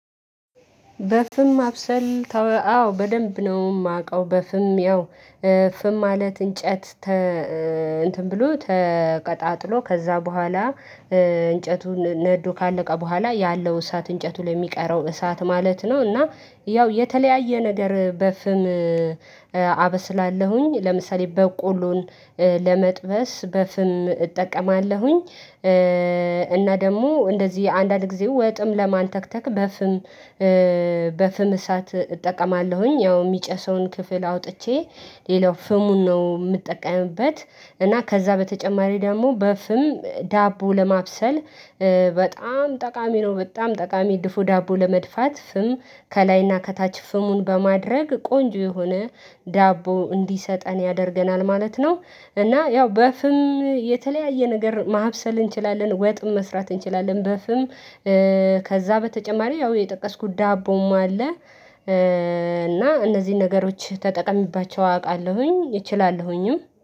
በፍም ማብሰል ተወ አዎ በደንብ ነው። ማቀው በፍም ያው ፍም ማለት እንጨት ተ እንትን ብሎ ተቀጣጥሎ ከዛ በኋላ እንጨቱን ነዶ ካለቀ በኋላ ያለው እሳት እንጨቱ ላይ ሚቀረው እሳት ማለት ነው። እና ያው የተለያየ ነገር በፍም አበስላለሁኝ ለምሳሌ በቆሎን ለመጥበስ በፍም እጠቀማለሁኝ። እና ደሞ እንደዚህ አንዳንድ ግዜ ወጥም ለማንተክተክ። በፍም እሳት እጠቀማለሁኝ ያው ሚጨሰውን ክፍል አውጥቼ ሌላው ፍሙን ነው ምጠቀምበት። እና ከዛ በተጨማሪ ደግሞ በፍም ዳቦ ለማብሰል በጣም ጠቃሚ ነው። በጣም ጠቃሚ ድፎ ዳቦ ለመድፋት ፍም ከላይና ከታች ፍሙን በማድረግ ቆንጆ የሆነ ዳቦ እንዲሰጠን ያደርገናል ማለት ነው። እና ያው በፍም የተለያየ ነገር ማብሰል እንችላለን ወጥም መስራት እንችላለን በፍም ከዛ በተጨማሪ ያው የጠቀስኩት ዳቦም አለ። እና እነዚህን ነገሮች ተጠቅምባቸው አውቃለሁኝ እችላለሁኝም